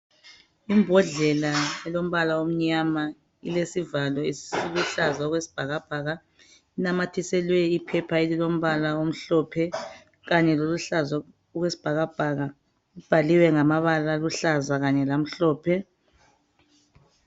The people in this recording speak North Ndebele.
Imbodlela elombala omnyama ileaivalo esiluhlaza okwesibhakabhaka inamathiselwe iphepha elilombala omhlophe kanye loluhlaza okwesibhakabhaka. Ibhaliwe ngamabala aluhlaza kanye lamhlophe.